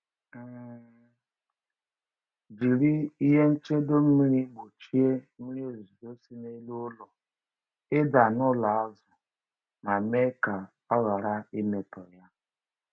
um Jiri ihe nchedo mmiri gbochie mmiri ozuzo si n’elu ụlọ ịda n’ụlọ azụ ma mee ka ọ ghara imetọ ya.